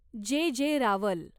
जे. जे. रावल